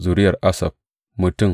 Zuriyar Asaf mutum